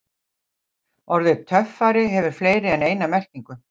Orðið töffari hefur fleiri en eina merkingu.